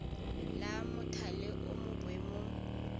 la mothale o mo boemong